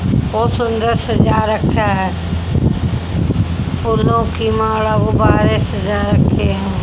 और सुंदर सजा रखा है फूलों की माला गुब्बारे सजा रखे हैं।